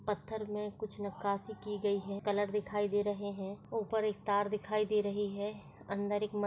पत्थर में कुछ नकाशी की गई हैं कलर दिखाई दे रहे है ऊपर एक तार दिखाई दे रही है अंदर एक म--